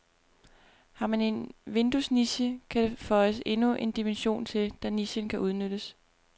Har man en vinduesniche, kan der føjes endnu en dimension til, da nichen kan udnyttes.